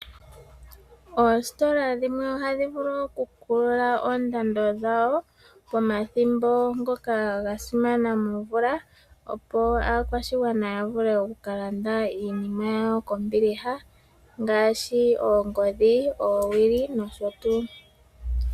Oositola dhimwe ohadhi vulu okukulula oondando dhawo pomadhimbo ngoka gasimana momvula opo aakwashigwana yavule okukalanda iinima yawo kombiliha ngaashi, oongodhi, oowili, nosho tu.